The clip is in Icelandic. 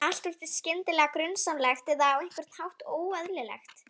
Allt virtist skyndilega grunsamlegt eða á einhvern hátt óeðlilegt.